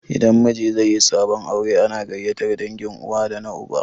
Idan miji zaiyi sabon aure ana gaiyatar dangin uwa da na uba